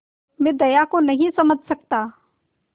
मैं दया को नहीं समझ सकता